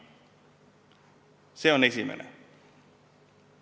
See on esimene asi.